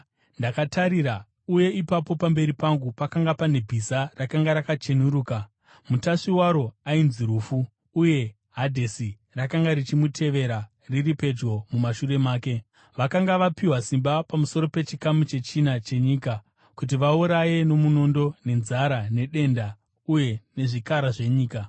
Ndakatarira, uye ipapo pamberi pangu pakanga pane bhiza rakanga rakacheneruka! Mutasvi waro ainzi Rufu, uye Hadhesi rakanga richimutevera riri pedyo mumashure make. Vakanga vapiwa simba pamusoro pechikamu chechina chenyika kuti vauraye nomunondo, nenzara nedenda, uye nezvikara zvenyika.